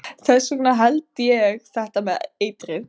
Þess vegna held ég þetta með eitrið.